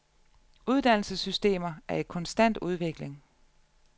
Uddannelsessystemer er i konstant udvikling.